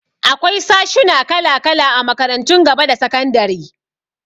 Akwai sashuna kala-kala a makarantun gaba da sakandari.